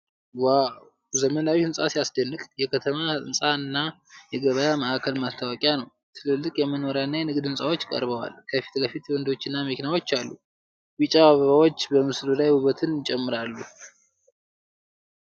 ዋው! ዘመናዊው ሕንፃ ሲያስደንቅ! የከተማ ህንፃና የገበያ ማዕከል ማስታወቂያ ነው። ትልልቅ የመኖሪያና የንግድ ህንጻዎች ቀርበዋል። ከፊት ለፊት መንገዶችና መኪናዎች አሉ። ቢጫ አበባዎች በምስሉ ላይ ውበትን ይጨምራሉ።